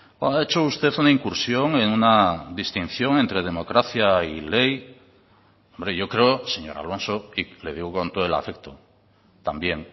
cuando ha hecho usted una incursión en una distinción entre democracia y ley hombre yo creo señor alonso y le digo con todo el afecto también